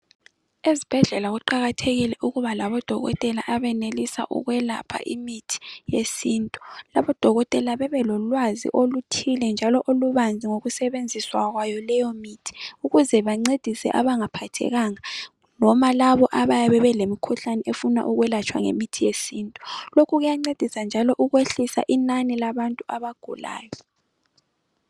Ezibhedlela kuqakathekile ukuba labodokotela abenelisa ukwelapha imithi yesintu odokotela bebelolwazi olothile Ngokusebenziswa kwayo leyo mithi ukuze bancedise abangaphathekanga noma labo abayabe belemikhuhlane efuna ukwelatshwa Ngemithi yesintu Kuyancedisa njalo ukwehlisa inani labantu abagulayo